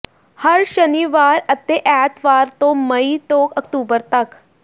ਹਰ ਸ਼ਨੀਵਾਰ ਅਤੇ ਐਤਵਾਰ ਤੋਂ ਮਈ ਤੋਂ ਅਕਤੂਬਰ ਤਕ